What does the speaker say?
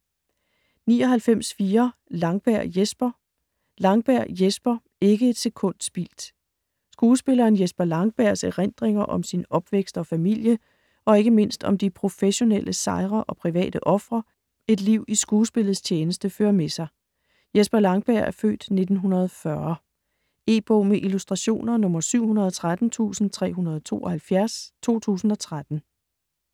99.4 Langberg, Jesper Langberg, Jesper: Ikke et sekund spildt Skuespilleren Jesper Langbergs (f. 1940) erindringer om sin opvækst og familie, og ikke mindst om de professionelle sejre og private ofre et liv i skuespillets tjeneste fører med sig. E-bog med illustrationer 713372 2013.